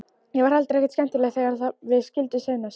Ég var heldur ekkert skemmtileg sjálf þegar við skildum síðast.